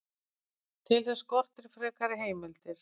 Til þess skortir frekari heimildir.